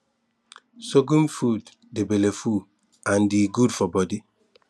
sorghum food dey belleful and e good for body